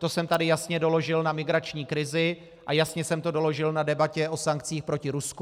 To jsem tady jasně doložil na migrační krizi a jasně jsem to doložil na debatě o sankcích proti Rusku.